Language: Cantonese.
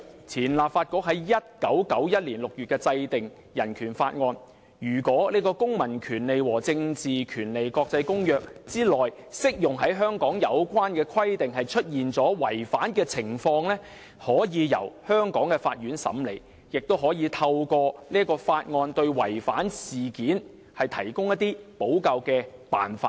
前立法局在1991年6月制定《人權法案條例》，訂明如果出現違反《公民權利和政治權利國際公約》內適用於香港的有關規定的情況，可以由香港的法院審理，亦可以透過《人權法案條例》對違反事件提供補救辦法。